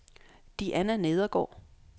Diana Nedergaard